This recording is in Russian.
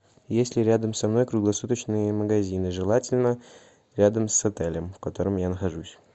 есть ли рядом со мной круглосуточные магазины желательно рядом с отелем в котором я нахожусь